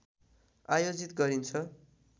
आयोजित गरिन्छ